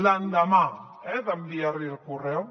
l’endemà eh d’enviar li el correu